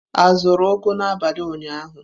A zụrụ ugu n'abalị ụnyaahụ?